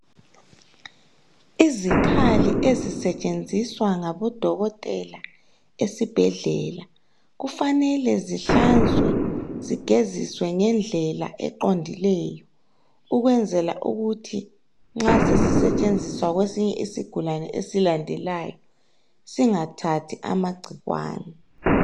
Izikhali ezisetshenziswa ngabodokotela esibhedlela kufanele zihlanzwe zigeziswe ngendlela eqondileyo ukwenzela ukuthi nxa sesisetshenziswa kwesinye isigulane esilandelayo singathathi amagcikwane.